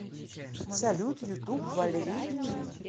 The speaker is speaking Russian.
салют ютуб валери джун